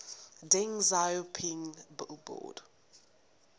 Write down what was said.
deng xiaoping billboard